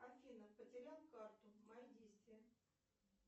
афина потерял карту мои действия